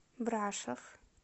брашов